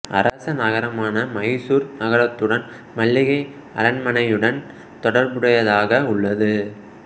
அரச நகரமான மைசூர் நகரத்துடன் மல்லிகை அரண்மனையுடன் தொடர்புடையதாக உள்ளது